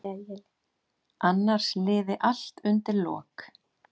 Annars liði allt undir lok.